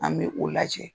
An bɛ o lajɛ